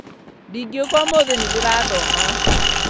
ndingiũka ũmũthi nĩndĩrathoma